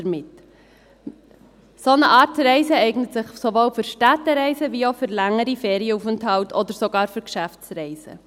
Eine solche Art zu reisen eignet sich sowohl für Städtereisen als auch für längere Ferienaufenthalte oder sogar für Geschäftsreisen.